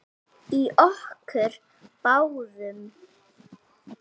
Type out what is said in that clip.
Eitt skref í einu.